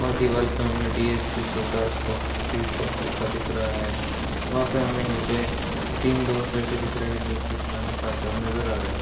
वहाँ दीवाल पे हमे डी.एस.पी. सोडा सस कॉफ़ी शॉप लिखा दिख रहा है | वहाँ पे हमे नीचे तीन दोस्त बैठे दिख रहे हैं जो कि खाना खाते हुए नजर आ रहे |